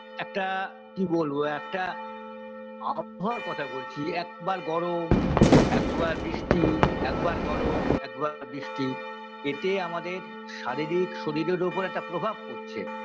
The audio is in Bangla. একটা কি বলবো একটা আবহাওয়ার কথা বলছি একবার গরম একবার বৃষ্টি একবার গরম একবার বৃষ্টি এতে আমাদের শারীরিক শরীরের ওপর একটা প্রভাব পরছে